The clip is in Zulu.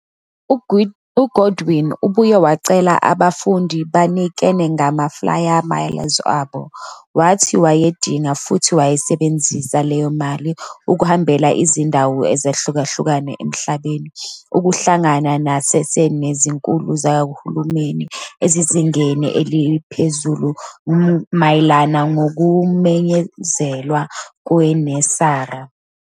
UGoodwin, obuye wacela abafundi ukuthi banikele ngama-flyer miles abo, wathi wayedinga futhi wayesebenzise le mali ukuhambela izindawo ezahlukahlukene emhlabeni ukuhlangana ngasese nezikhulu zikahulumeni ezisezingeni eliphezulu mayelana nokumenyezelwa kweNESARA.